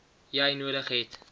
jy nodig het